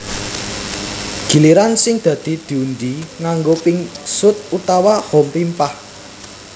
Giliran sing dadi diundhi nganggo pingsut utawa hompimpah